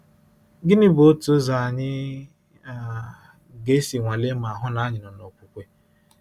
Gịnị bụ otu ụzọ anyị um ga-esi nwalee ma hụ na anyị nọ n’okwukwe? um